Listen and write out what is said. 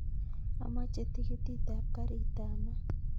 Amoche tikitit ap karit ap maat